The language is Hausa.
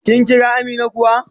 Kin Kira Amina kuwa?